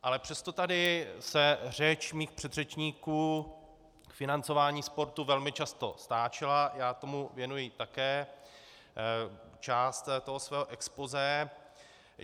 Ale přesto tady se řeč mých předřečníků k financování sportu velmi často stáčela, já tomu věnuji také část toho svého expozé.